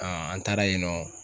an taara yen nɔ.